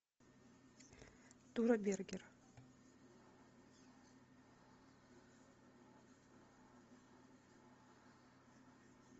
тура бергер